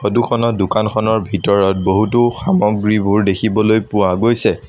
Photo খনত দোকানখনৰ ভিতৰত বহুতো সামগ্ৰীবোৰ দেখিবলৈ পোৱা গৈছে।